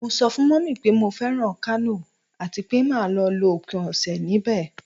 Mo so fun Mummy pe mo feran Kano atipe ma lo lopin ose nibe